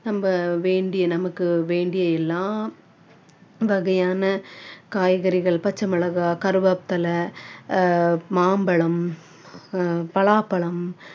நம்ம வேண்டிய நமக்கு வேண்டிய எல்லாம் வகையான காய்கறிகள், பச்சைமிளகாய், கருவேப்பிலை, ஆஹ் மாம்பழம், பலாப்பழம்,